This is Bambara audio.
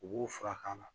U b'u furakɛ la